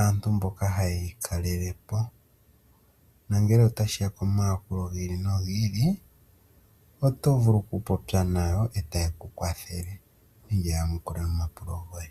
aantu mboka haye yi kalele po nongele otashiya komayakulo gi ili nogi ili oto vulu oku popya nayo etaye ku kwathele nenge ya yamukule omapulo goye.